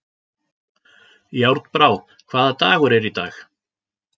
Járnbrá, hvaða dagur er í dag?